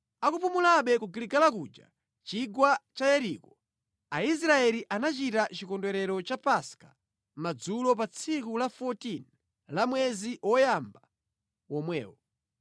Akupumulabe ku Giligala kuja mʼchigwa cha Yeriko, Aisraeli anachita chikondwerero cha Paska madzulo pa tsiku la 14 la mwezi woyamba womwewo.